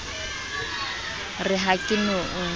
re ha ke no o